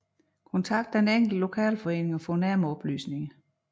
Kontakt den enkelte lokalforening og få nærmere oplysninger